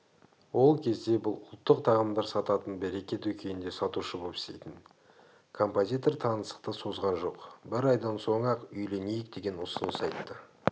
ол кезде бұл ұлттық тағамдар сататын береке дүкенінде сатушы боп істейтін композитор таныстықты созған жоқ бір айдан соң-ақ үйленейік деген ұсыныс айтты